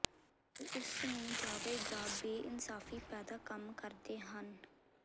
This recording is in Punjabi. ਪਰ ਇਸ ਨੂੰ ਜਾਵੇਗਾ ਬੇਇਨਸਾਫ਼ੀ ਪੈਦਾ ਕੰਮ ਕਰਦੇ ਹਨ